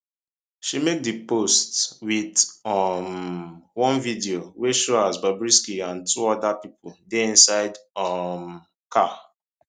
she make di post wit um one video wey show as bobrisky and two oda pipo dey inside um car